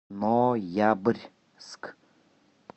ноябрьск